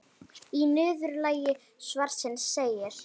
Í niðurlagi svarsins segir: